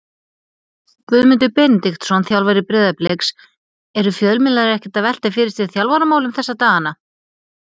Guðmundur Benediktsson, þjálfari Breiðabliks Eru fjölmiðlar ekkert að velta fyrir sér þjálfaramálum þessa dagana?